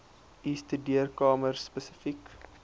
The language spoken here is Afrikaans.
u studeerkamer spesifiek